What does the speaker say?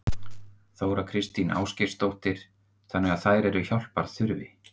Þóra Kristín Ásgeirsdóttir: Þannig að þær eru hjálpar þurfi?